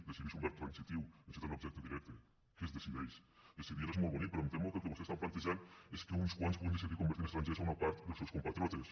decidir és un verb transitiu necessita un objecte directe què es decideix decidir és molt bonic però em temo que el que vostès estan plantejant és que uns quants puguin decidir convertir en estrangers una part dels seus compatriotes